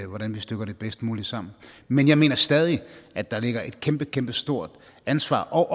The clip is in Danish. hvordan vi stykker det bedst muligt sammen men jeg mener stadig at der ligger et kæmpekæmpestort ansvar og